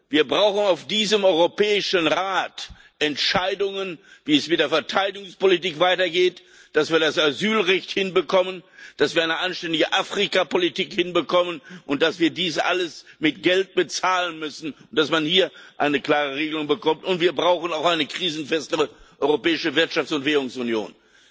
Wir brauchen auf diesem Europäischen Rat Entscheidungen, wie es mit der Verteilungspolitik weitergeht, wie wir das Asylrecht hinbekommen, wie wir eine anständige Afrikapolitik hinbekommen und dass wir dies alles mit Geld bezahlen müssen dass man hier eine klare Regelung bekommt. Und wir brauchen auch eine krisenfestere Europäische Wirtschafts und Währungsunion.